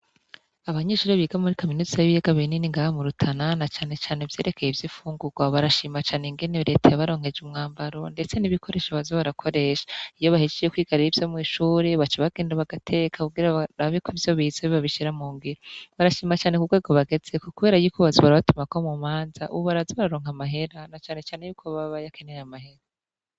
Abanyishuri biga muri kaminutsa ay'iyegabiri niningaamurutanana canecane vyerekeye ivyo ifungurwa barashimacane ingene bretaya baronkeje umwambaro, ndetse nibikoresho bazoarakoresha iyo bahishiye kwigarira ivyo mw'ishuri baca bagendabagateka kugira rabiko vyo biza bibabishira mu ngira barashimacane ku bwego bageze ku, kubera yikubazuwarabatumako mu manza ubaraza raronka amahera na canecane yuko bababayo akenaye amahera.